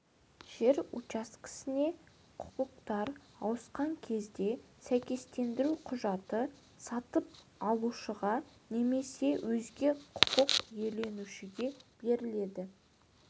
жер учаскесіне құқықтар ауысқан кезде сәйкестендіру құжаты сатып алушыға немесе өзге құқық иеленушіге беріледі